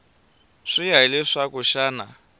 swi ya hi leswaku xana